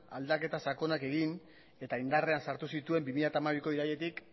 aldaketa sakonak egin eta indarrean sartu zituen bi mila hamabiko irailetik